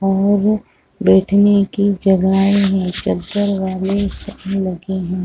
और बैठने की जगह है चद्दर वाले संग लगे है।